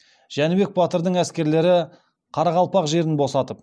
жәнібек батырдың әскерлері қарақалпақ жерін босатып